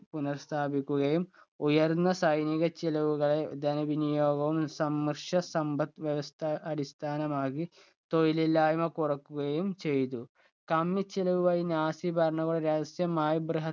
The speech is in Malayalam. പുനർസ്ഥാപിക്കുകയും ഉയർന്ന സൈനിക ചിലവുകളെ ധന വിനിയോഗവും സംഘർഷ സമ്പത് വ്യവസ്ഥ അടിസ്ഥാനമാക്കി തൊഴിലില്ലായിമ കുറക്കുകയും ചെയ്തു. കമ്മി ചിലവുകൾ നാസി ഭരണകൾ രഹസ്യമായി